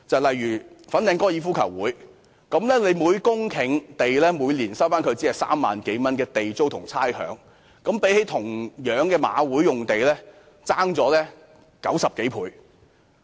例如粉嶺香港高爾夫球會，政府每年只就每公頃土地收取3萬多元地租和差餉，與香港賽馬會同樣的用地相差90多倍。